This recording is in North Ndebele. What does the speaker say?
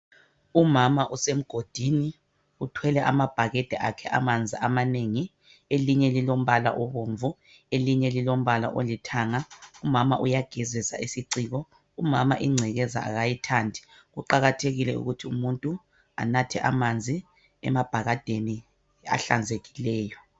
Umama usemgodini uthwele amabhekede akhe amanzi amanengi elinye lilombala obomvu elinye lilombala olithanga. Umama uyagezisa isiciko. Umama ingcekeza akayithandi. Kuqakathekile ukuthi umuntu anathe amanzi emabhakedeni ahlanzekileyo.